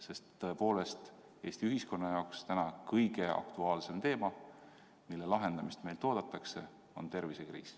Sest tõepoolest, Eesti ühiskonna jaoks täna kõige aktuaalsem teema, mille lahendamist meilt oodatakse, on tervisekriis.